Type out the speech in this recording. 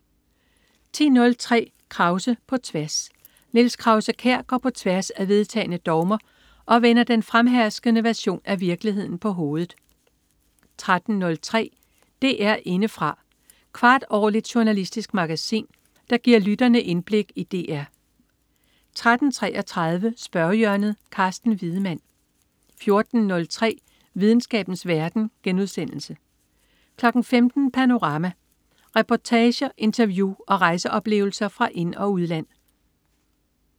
10.03 Krause på tværs. Niels Krause-Kjær går på tværs af vedtagne dogmer og vender den fremherskende version af virkeligheden på hovedet 13.03 DR Indefra. Kvartårligt journalistisk magasin, der giver lytterne indblik i DR 13.33 Spørgehjørnet. Carsten Wiedemann 14.03 Videnskabens verden* 15.00 Panorama. Reportager, interview og rejseoplevelser fra ind- og udland